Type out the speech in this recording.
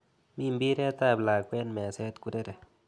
Mi mbiret ap lakwet meset kurere.